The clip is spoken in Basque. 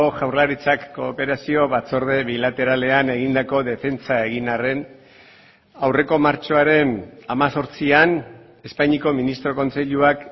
jaurlaritzak kooperazio batzorde bilateralean egindako defentsa egin arren aurreko martxoaren hemezortzian espainiako ministro kontseiluak